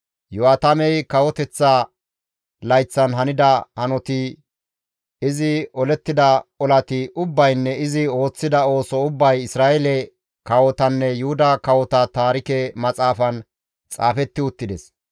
Iyo7aatame kawoteththa layththan hanida hanoti, izi olettida olati ubbaynne izi ooththida ooso ubbay Isra7eele kawotanne Yuhuda kawota Taarike Maxaafan xaafetti uttides.